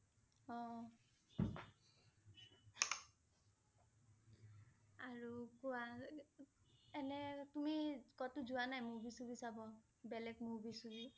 অ' আৰু কোৱা এৰ এনে তুমি ক'তো যোৱা নাই movie suvie চাব? বেলেগ movie suvie?